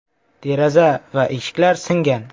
Deraza va eshiklar singan.